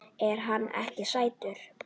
Er hann ekki sætur?